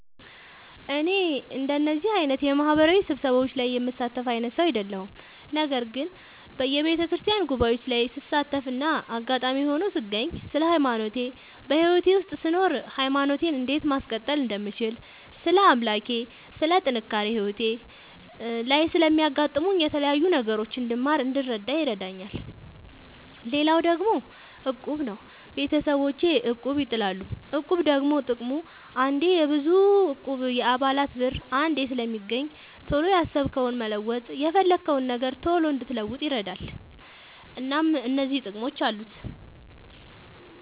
እኔ እንደዚህ አይነት የማህበራዊ ስብሰባዎች ላይ የምሳተፍ አይነት ሰው አይደለሁም። ነገር ግን በየቤተክርስቲያን ጉባኤዎች ላይ ስሳተፍና አጋጣሚ ሆኖ ስገኝ ስለ ሃይማኖቴ በህይወቴ ውስጥ ስኖር ሃይማኖቴን እንዴት ማስቀጠል እንደምችል ስለ አምላኬ ስለ ጥንካሬ ህይወቴ ላይ ስለሚያጋጥሙኝ የተለያዩ ነገሮች እንድማር እንድረዳ ይረዳኛል። ሌላው ደግሞ እቁብ ነው። ቤተሰቦቼ እቁብ ይጥላሉ። እቁብ ደግሞ ጥቅሙ አንዴ የብዙ እቁብ የአባላት ብር አንዴ ስለሚገኝ ቶሎ ያሰብከውን መለወጥ የፈለግከውን ነገር ቶሎ እንድትለውጥ ይረዳል። እናም እነዚህ ጥቅሞች አሉት።